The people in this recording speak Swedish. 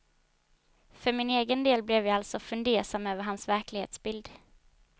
För min egen del blev jag alltså fundersam över hans verklighetsbild.